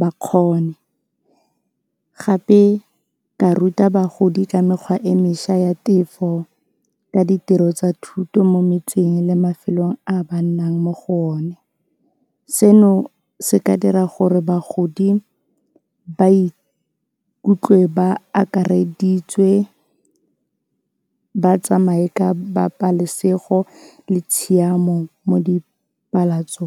ba kgone. Gape ka ruta bagodi ka mekgwa e mešwa ya tefo ka ditiro tsa thuto mo metseng le mafelong a ba nnang mo go one. Seno se ka dira gore bagodi ba ikutlwe ba akareditswe ba tsamaye ka le tshiamo mo .